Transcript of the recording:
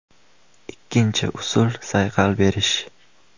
Ikkinchi usul sayqal berish.